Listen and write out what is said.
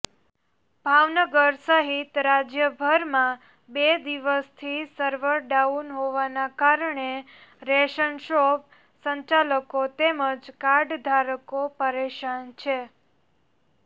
ભાવનગર સહિત રાજ્યભરમાં બે દિવસથી સર્વર ડાઉન હોવાના કારણે રેશનશોપ સંચાલકો તેમજ કાર્ડધારકો પરેશાન છે